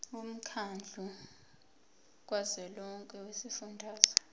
womkhandlu kazwelonke wezifundazwe